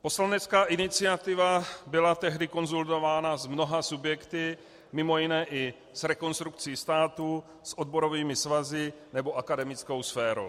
Poslanecká iniciativa byla tehdy konzultována s mnoha subjekty, mimo jiné i s Rekonstrukcí státu, s odborovými svazy nebo akademickou sférou.